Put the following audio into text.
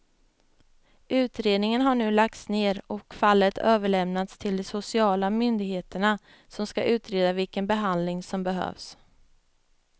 Utredningen har nu lagts ner och fallet överlämnats till de sociala myndigheterna som ska utreda vilken behandling som behövs.